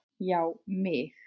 Já mig!